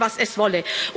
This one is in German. Koste es, was es wolle.